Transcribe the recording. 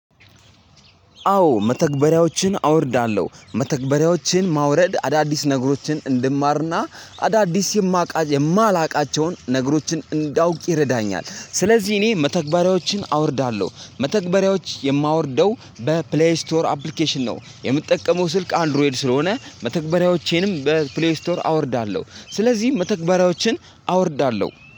አዎ መተግበሪያዎችን አወርዳለሁ መተግበሪያዎችን ማውረድ አዳዲስ ነገሮችን እንድማርና አዳዲስ የማላቃቸውን ነገሮችን እንዳውቅ ይረዳኛል። ስለዚህ እኔ መተግበሪያዎችን አወርዳለሁ መተግበሪያዎች የማወርደው በፕሌይ ስቶር አፕሊኬሽን ነው የምጠቀመው። ስልክ አንድሮይድ ስለሆነ መተግበሪያዎቼንም በፕሌይ ስቶር አወርዳለሁ። ስለዚህ መተግበሪያዎችን አወርዳለሁ